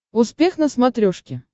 успех на смотрешке